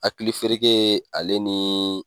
Hakili fereke ale ni